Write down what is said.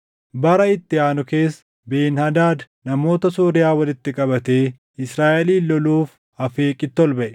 Bara itti aanu keessa Ben-Hadaad namoota Sooriyaa walitti qabatee Israaʼelin loluuf Afeeqitti ol baʼe.